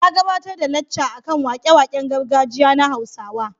Ya gabatar da lacca a kan wake-waken gargajiya na Hausawa.